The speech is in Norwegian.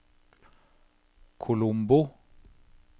Colombo